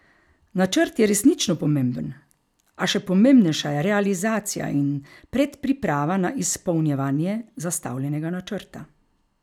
Načrt je resnično pomemben, a še pomembnejša je realizacija in predpriprava na izpolnjevanje zastavljenega načrta.